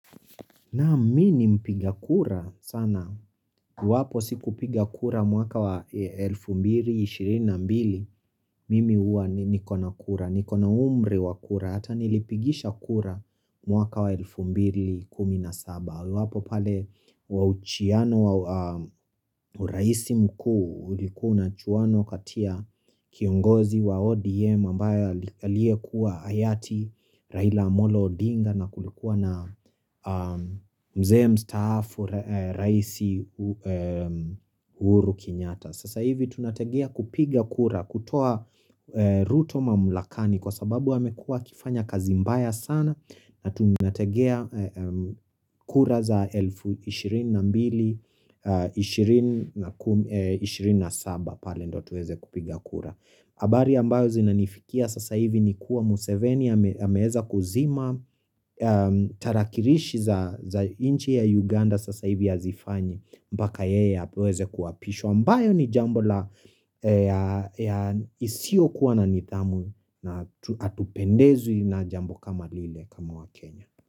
Na mini mpiga kura sana, iwapo siku piga kura mwaka wa 2022, mimi huwa niko na kura, niko na umri wa kura, hata nilipigisha kura mwaka wa 2017. Iwapo pale wa uchiano wa raisi mkuu ulikuwa unachuwana kati ya kiongozi wa ODM ambaye aliye kuwa hayati, Raila Molo Odinga na kulikuwa na mzee Mstaafu Rais uhuru Kenyata. Sasa hivi tunategea kupiga kura kutoa ruto mamulakani kwa sababu amekuwa akifanya kazi mbaya sana na tunategea kura za 2022-2027 pale ndo tuweze kupiga kura. Habari ambayo zinanifikia sasa hivi ni kuwa Museveni ameweza kuzima Tarakirishi za inchi ya Uganda sasa hivi hazifanyi mpaka yeye aweze kuapishwa ambayo ni jambo la isiyokuwa na nidhamu na hatupendezwi na jambo kama lile kama wakenya.